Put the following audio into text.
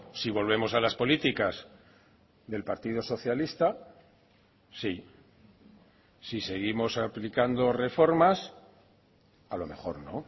si volvemos a las políticas del partido socialista sí si seguimos aplicando reformas a lo mejor no